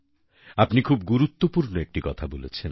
আপনি খুব গুরুত্বপূর্ণ একটি কথা বলেছেন